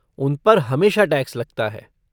उन पर हमेशा टैक्स लगता है।